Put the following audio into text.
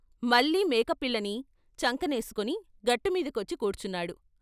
మళ్ళీ మేకపిల్లని చంకనేసుకుని గట్టుమీద కొచ్చి కూర్చున్నాడు.